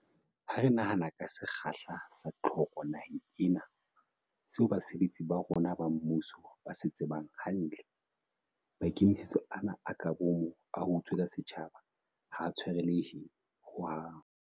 Ha re nahana ka sekgahla sa tlhoko naheng ena, seo basebetsi ba rona ba mmuso ba se tsebang hantle, maikemisetso ana a ka boomo a ho utswetsa setjhaba ha a tshwarelehe ho hang.